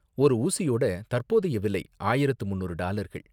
ஒரு ஊசியோட தற்போதைய விலை ஆயிரத்து முன்னூறு டாலர்கள்.